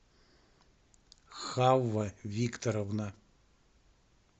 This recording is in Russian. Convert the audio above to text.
хавва викторовна